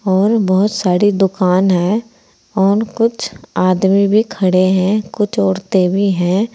और बहोत सारी दुकान है और कुछ आदमी भी खड़े है कुछ औरते भी हैं।